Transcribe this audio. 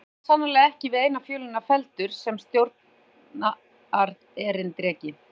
Maðurinn var sannarlega ekki við eina fjölina felldur sem stjórnarerindreki!